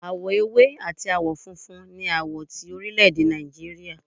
Awọ èwé atí awọ fúnfún ní awọ ti orilede nijíríría